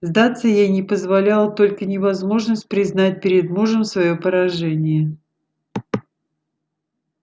сдаться ей не позволяла только невозможность признать перед мужем своё поражение